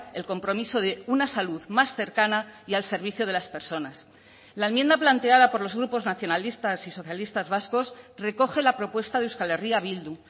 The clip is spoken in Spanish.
el compromiso de una salud más cercana y al servicio de las personas la enmienda planteada por los grupos nacionalistas y socialistas vascos recoge la propuesta de euskal herria bildu